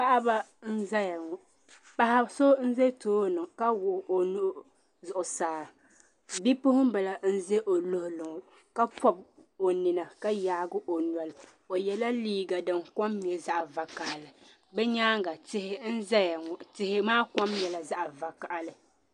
Paɣa ba nzaya ŋɔ paɣi so bɛ tooni ka wuɣi o nuu zuɣusaa bipuɣun bili nzɛ o luɣili ŋɔ ka pɔbi o nina ka yaagi o noli o yala liiga din kom nyɛ zaɣi vakahali di nyanga tihi zaya ŋɔ tihi ma kom nyɛla zaɣi vakahali.